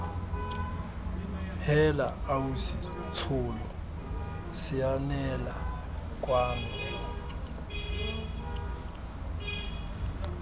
heela ausi tsholo sianela kwano